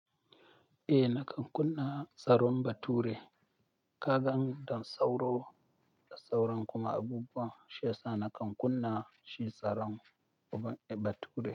Eh nakan kunna tsaron bature. Kagan da sauro da sauran kuma abubuwan shiyasa nakan kunna shi tsaron bature.